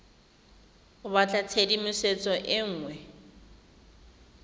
o batla tshedimosetso e nngwe